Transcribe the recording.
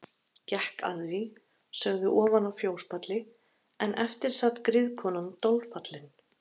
Gekk að því sögðu ofan af fjóspalli en eftir sat griðkonan dolfallin.